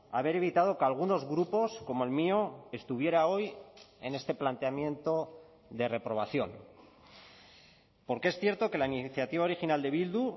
haber evitado que algunos grupos como el mío estuviera hoy en este planteamiento de reprobación porque es cierto que la iniciativa original de bildu